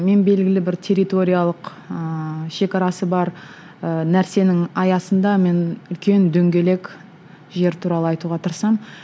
мен белгілі бір территориялық ыыы шегарасы бар ы нәрсенің аясында мен үлкен дөңгелек жер туралы айтуға тырысамын